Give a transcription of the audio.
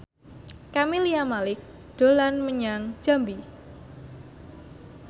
Camelia Malik dolan menyang Jambi